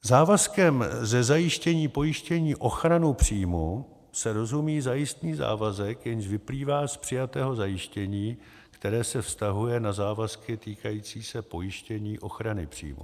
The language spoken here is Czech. Závazkem ze zajištění pojištění ochranu příjmů se rozumí zajistný závazek, jenž vyplývá z přijatého zajištění, které se vztahuje na závazky týkající se pojištění ochrany příjmů.